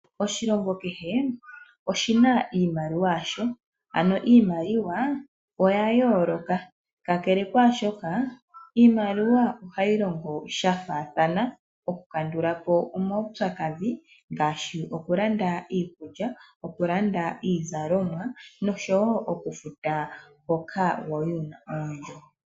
Oshilongo kehe oshi na iimaliwa yasho. Ano iimaliwa oya yooloka. Kakele kwaa shoka, iimaliwa ohayi longo sha faathana, okukandula po omaupyakadhi ngaashi okulanda iikulya, okulanda iizalomwa nosho wo okufuta hoka wa li wu na oondjo.